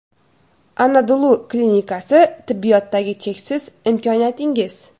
ANADOLU klinikasi – tibbiyotdagi cheksiz imkoniyatingiz!.